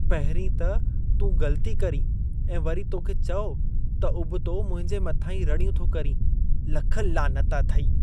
पहिंरीं त तूं ग़लती करीं ऐं वरी तोखे चओ त उबतो मुंहिंजे मथां ई रड़ियूं थो करीं। लख लानत अथई!